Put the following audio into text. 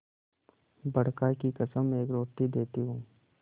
बड़का की कसम एक रोटी देती हूँ